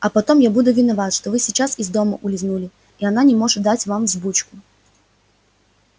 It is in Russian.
а потом я буду виноват что вы сейчас из дома улизнули и она не может дать вам взбучку